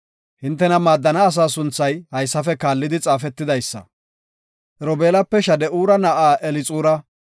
Hintena maaddana asaa sunthay haysafe kaallidi xaafetidaysa. Robeelape, Shade7ura na7aa Elixura;